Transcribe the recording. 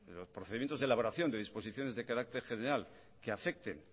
los procedimientos de elaboración de disposiciones de carácter general que afecten